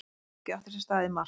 Atvikið átti sér stað í mars